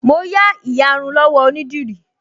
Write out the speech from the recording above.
Mo yá ìyarun lọ́wọ́ onídìrí